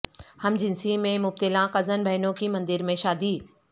ہم جنسی میں مبتلا کزن بہنوں کی مندر میں شادی